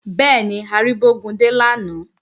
Bẹ́ẹ̀ni, a rí Bógúndé lánàá